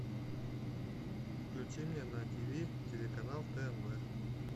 включи мне на тв телеканал тнв